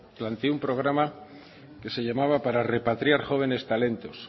planteó un programa que se llamaba para repatriar jóvenes talentos